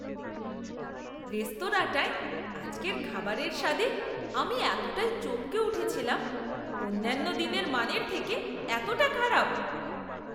রেস্তোরাঁটায় আজকের খাবারের স্বাদে আমি এতটাই চমকে উঠেছিলাম! অন্যান্য দিনের মানের থেকে এতটা খারাপ!